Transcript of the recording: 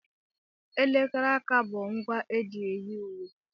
Elekere aka aka bụ ngwa eji eyi uwe.